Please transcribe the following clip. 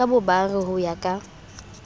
ka bobare ho ya ka